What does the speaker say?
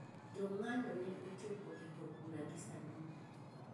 Jong`anyo ne ochopo e od bura gi sanduku